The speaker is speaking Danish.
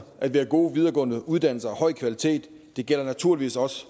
at vi har gode videregående uddannelser af høj kvalitet det gælder naturligvis også